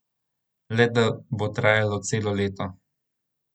Le da bo trajalo celo leto.